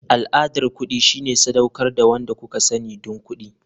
Al'adar kuɗi shine sadaukar da wanda kuka sani don kuɗi.